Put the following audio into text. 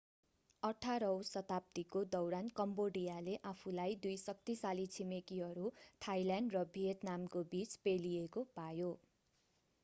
18 औँ शताब्दीको दौरान कम्बोडियाले आफूलाई दुई शक्तिशाली छिमेकीहरू थाईल्यान्ड र भियतनामको बीच पेलिएको पायो